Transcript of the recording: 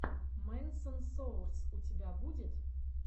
мэнсон соурс у тебя будет